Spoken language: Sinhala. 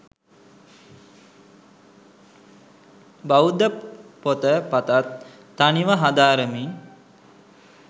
බෞද්ධ පොත පතත් තනිව හදාරමින්